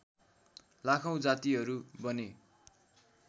लाखौँ जातिहरू बने